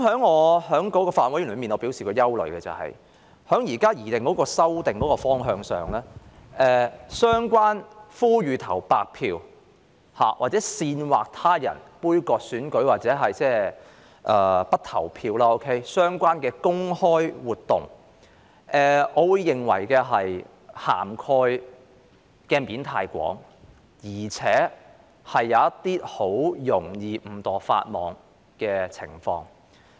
我在法案委員會表達的憂慮是，以現時的擬議修訂方向而言，我認為呼籲投白票或煽惑他人杯葛選舉或不投票的相關公開活動的涵蓋範圍太廣，很容易出現令人誤墮法網的情況。